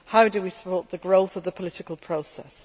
How do we support the growth of the political process?